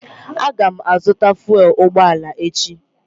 Aga m azụta fụèl ụgbọala echi